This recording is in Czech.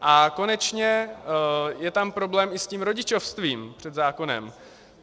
A konečně je tam problém i s tím rodičovstvím před zákonem.